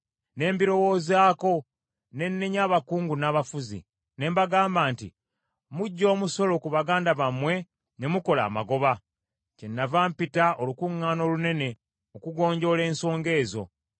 Ne mbirowoozaako, ne nnenya abakungu n’abafuzi. Ne mbagamba nti, “Muggya omusolo ku baganda bammwe ne mukola amagoba!” Kyennava mpita olukuŋŋaana olunene okugonjoola ensonga ezo,